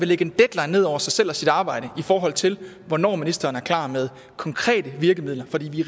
lægge en deadline ned over sig selv og sit arbejde i forhold til hvornår ministeren er klar med konkrete virkemidler fordi vi